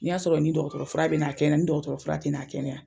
Ni y'a sɔrɔ ni dɔgɔtɔrɔ fura be n'a kɛnɛya ni dɔgɔtɔrɔ fura te na a kɛnɛya.